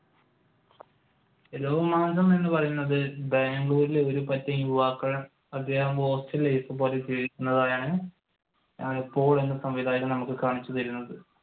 രോമാഞ്ചം എന്ന് പറയുന്നത് ബാംഗ്ലൂരിലെ ഒരുപറ്റം യുവാക്കൾ കാണിച്ചുതരുന്നത്.